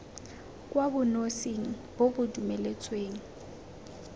kwa bonosing bo bo dumeletsweng